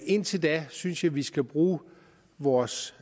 indtil da synes jeg at vi skal bruge vores